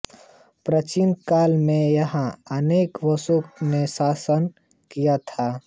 प्राचीन काल में यहां अनेक वंशों ने शासन किया था